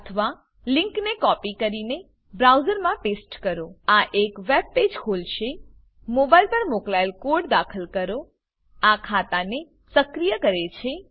અથવા લીંકને કોપી કરીને બ્રાઉઝરમાં પેસ્ટ કરો આ એક વેબ પેજ ખોલશે મોબાઈલ પર મોકલાયેલ કોડ દાખલ કરો આ ખાતાને સક્રિય કરે છે